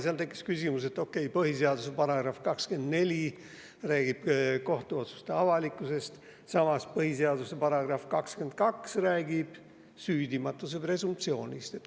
Seal tekkis küsimus, et okei, põhiseaduse § 24 räägib kohtuotsuste avalikkusest, samas põhiseaduse § 22 räägib presumptsioonist.